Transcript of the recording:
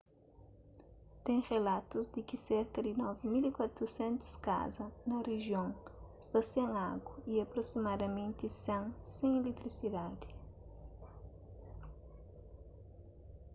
ten relatus di ki serka di 9400 kaza na rijion sta sen agu y aprosimadamenti 100 sen iletrisidadi